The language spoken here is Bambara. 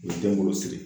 U ye denwolo siri